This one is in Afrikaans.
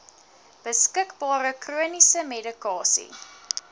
beskikbare chroniese medikasie